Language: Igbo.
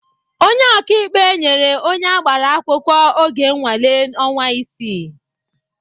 Onye ọkaikpe nyere onye agbara akwụkwọ oge nnwale ọnwa isii.